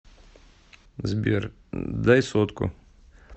сбер дай сотку